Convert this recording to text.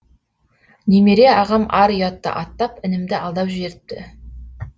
немере ағам ар ұятты аттап інімді алдап жіберіпті